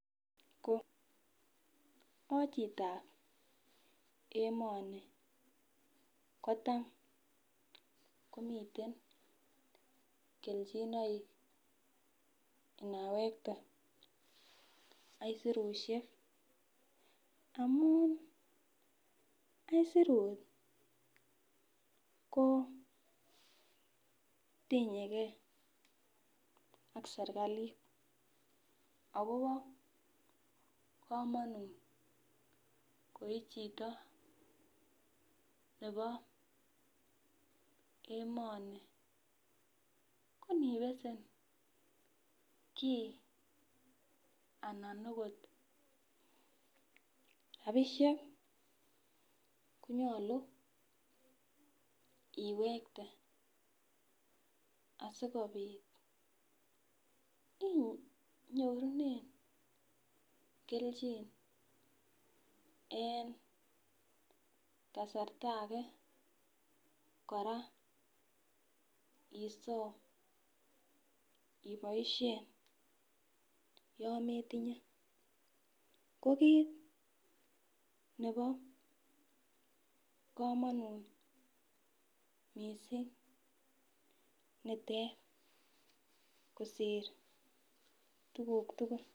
Ko achitab emoni kotam komiten kelchinoik inawekte aisurusiek, amun aisurut ko tinyegee ak serikalit.,akobo komonut koi chito nebo emoni konibesen kii anan okot rapisiek konyolu iwekte asikobit inyorunen kelchin, en kasarta age kora isom iboisien yon metinye ko kit nebo kamonut nitet kosir tuguk tugul.